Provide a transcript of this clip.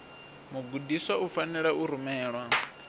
mugudiswa u fanela u rumelwa